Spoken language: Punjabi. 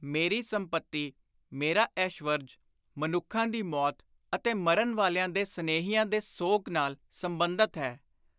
ਮੇਰੀ ਸੰਪਤੀ, ਮੇਰਾ ਐਸ਼ਵਰਜ, ਮਨੁੱਖਾਂ ਦੀ ਮੌਤ ਅਤੇ ਮਰਨ ਵਾਲਿਆਂ ਦੇ ਸਨੇਹੀਆਂ ਦੇ ਸੋਗ ਨਾਲ ਸੰਬੰਧਤ ਹੈ।”